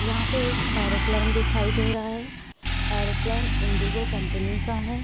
यहाँ पे एक एरोप्लेन दिखाई दे रहा है एरोप्लेन इंडिगो कंपनी का है।